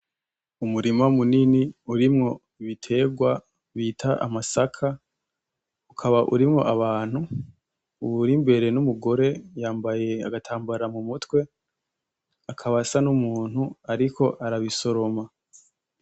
Umurima munini urimwo ibitegwa bita amasaka , ukaba urimwo abantu , uwuri imbere ni umugore yambaye agatambara mu mutwe akaba asa n'umuntu ariko arabisoroma.